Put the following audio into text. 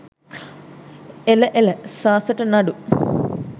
එල එල සාසට නඩු